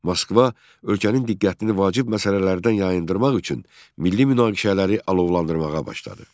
Moskva ölkənin diqqətini vacib məsələlərdən yayındırmaq üçün milli münaqişələri alovlandırmağa başladı.